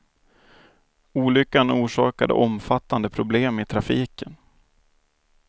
Olyckan orsakade omfattande problem i trafiken.